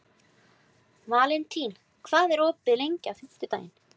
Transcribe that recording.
Valentín, hvað er opið lengi á fimmtudaginn?